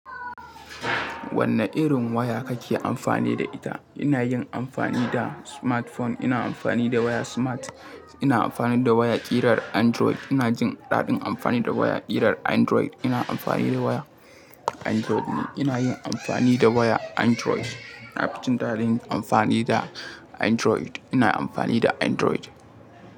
Wanne irin waya kake amfani da ita? Ina yin amfani da smartphone. Ina amfani da waya smart. Ina amfani da waya kirar Android. Ina jin daɗin amfani da waya irar Android. Ina amfani da waya Android ne. Ina yin amfani da waya Android. Nafi jin daɗin amfani da Android. Ina amfani da Android.